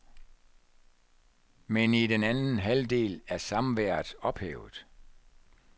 Men i den anden halvdel er samværet ophævet.